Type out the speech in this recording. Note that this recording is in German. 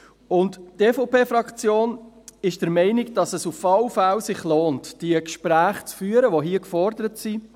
Die EVP-Fraktion ist der Meinung, dass es sich auf jeden Fall lohnt, die Gespräche zu führen, die hier gefordert sind.